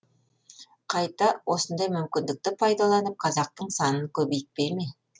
қайта осындай мүмкіндікті пайдаланып қазақтың санын көбейтпей ме